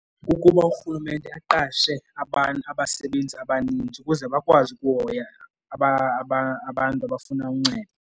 Kukuba urhulumente aqashe abasebenzi abaninzi ukuze bakwazi ukuhoya abantu abafuna uncedo.